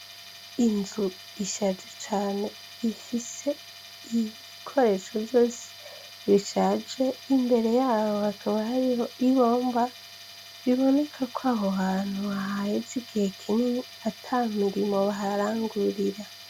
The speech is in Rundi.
Inzu ishaje cane ifise ibikoresho vyose bishaje imbere yabo hakaba hariho igomba biboneka ko aho hantu hahaheza igihe kinini ata mirimo baharangurira.